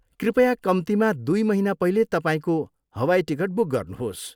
कृपया कम्तीमा दुई महिना पहिले तपाईँको हवाई टिकट बुक गर्नुहोस्।